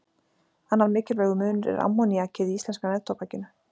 Annar mikilvægur munur er ammoníakið í íslenska neftóbakinu.